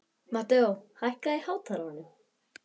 Mateó, hækkaðu í hátalaranum.